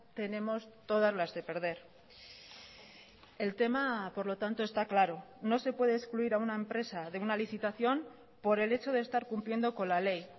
tenemos todas las de perder el tema por lo tanto está claro no se puede excluir a una empresa de una licitación por el hecho de estar cumpliendo con la ley